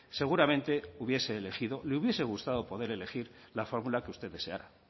seguramente hubiese elegido le hubiese gustado poder elegir la fórmula que usted deseara